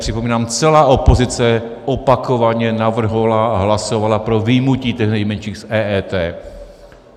Připomínám, celá opozice opakovaně navrhovala a hlasovala pro vyjmutí těch nejmenších z EET.